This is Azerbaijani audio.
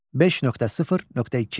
5.0.2.